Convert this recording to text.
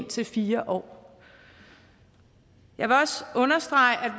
til fire år jeg vil også understrege at